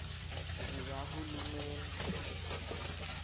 zikahulumeni